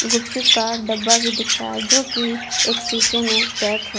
गुपचुप का डब्बा भी दिख रहा है जो की एक शीशे में पैक है।